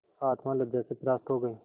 आत्मा लज्जा से परास्त हो गयी